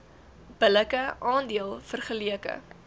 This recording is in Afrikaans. billike aandeel vergeleke